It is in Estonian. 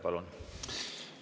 Palun!